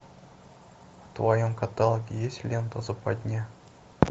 в твоем каталоге есть лента западня